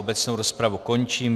Obecnou rozpravu končím.